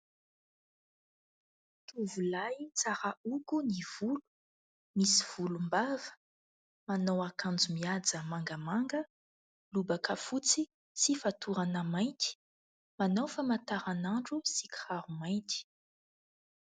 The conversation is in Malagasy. Tovolahy tsara hogo ny volo, misy volombava, manao akanjo mihaja mangamanga, lobaka fotsy sy fatorana mainty. Manao famantaranandro sy kiraro mainty.